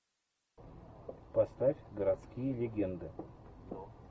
поставь городские легенды